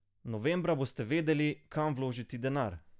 Novembra boste vedeli, kam vložiti denar.